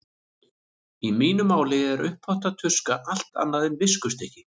Í mínu máli er uppþvottatuska allt annað en viskustykki.